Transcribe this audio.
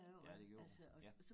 Ja det gjorde ja